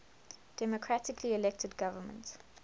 democratically elected government